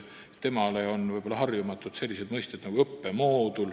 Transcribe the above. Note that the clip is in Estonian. Tema jaoks on harjumatu selline mõiste nagu "õppemoodul".